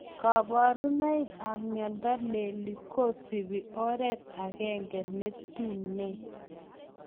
Kabarunoik ap miondoo leli kosupii oret agenge neetunee